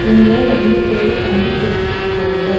இங்க ரெண்டு பேரு கம்பி புடிசிட்ருக்காங்க.